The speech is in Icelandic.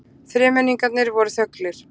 Þremenningarnir voru þöglir.